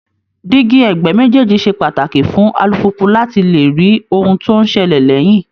Díígí ẹ̀gbẹ́ méjèèjì ṣe pàtàkì fún alùpùpù láti lè rí ohun tó ń ṣẹlẹ̀ lẹ́yìn